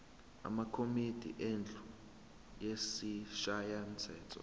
amakomidi endlu yesishayamthetho